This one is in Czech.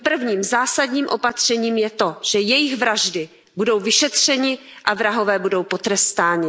A tím prvním, zásadním opatřením je to, že jejich vraždy budou vyšetřeny a vrahové budou potrestáni.